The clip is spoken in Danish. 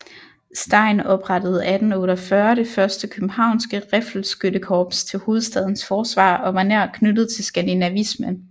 Stein oprettede 1848 det første københavnske riffelskyttekorps til hovedstadens forsvar og var nær knyttet til Skandinavismen